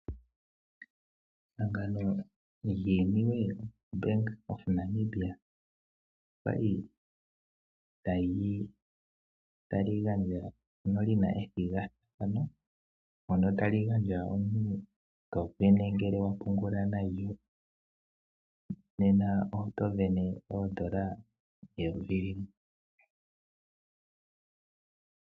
Ehangano lyiiniwe, Bank Windhoek olya li ta li gandja ano li na ethigathano , mono omuntu wa li to sindana ngele wa pungula nalyo, nena oto sindana ooN$ 1000.